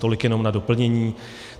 Tolik jenom na doplnění.